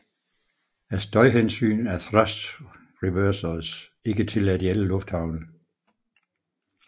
Af støjhensyn er thrust reversers ikke tilladt i alle lufthavne